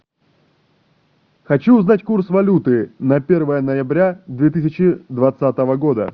хочу узнать курс валюты на первое ноября две тысячи двадцатого года